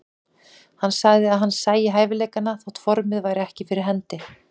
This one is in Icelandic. Hann sagði að hann sæi hæfileikana þótt formið væri ekki fyrir hendi.